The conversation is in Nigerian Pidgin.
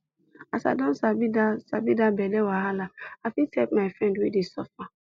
as i don sabi that sabi that belle wahala i fit help my friend wey dey suffer